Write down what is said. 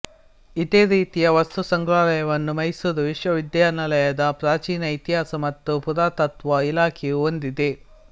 ಇದೇ ರೀತಿಯ ವಸ್ತುಸಂಗ್ರಹಾಲಯವನ್ನು ಮೈಸೂರು ವಿಶ್ವವಿದ್ಯಾನಿಲಯದ ಪ್ರಾಚೀನ ಇತಿಹಾಸ ಮತ್ತು ಪುರಾತತ್ತ್ವ ಇಲಾಖೆಯೂ ಹೊಂದಿದೆ